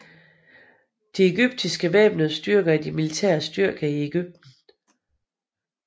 De egyptiske væbnede styrker er de militære styrker i Egypten